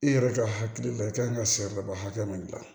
I yɛrɛ ka hakili la i kan ka siri ba hakɛ min gilan